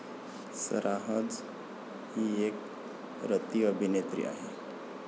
Sarah J ही एक रतिअभिनेत्री आहे.